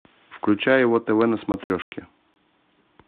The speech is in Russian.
включай его тв на смотрешке